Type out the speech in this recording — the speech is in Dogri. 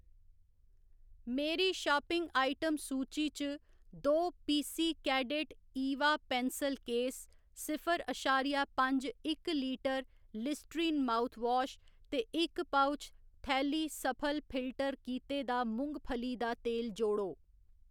मेरी शापिंग आइटम सूची च दो PC cadet Eva pencil case, सिफर अशारिया पंज इक लीटर लिस्ट्रीन माउथवाश ते इक पउच, थैली सफल फिल्टर कीते दा मुंगफली दा तेल जोड़ो